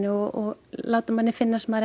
og láta manni finnast maður